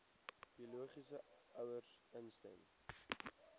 biologiese ouers instem